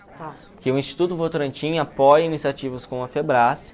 Porque o Instituto Votorantim apoia iniciativas como a